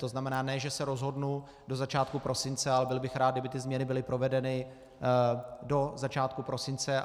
To znamená, ne že se rozhodnu do začátku prosince, ale byl bych rád, kdyby ty změny byly provedeny do začátku prosince.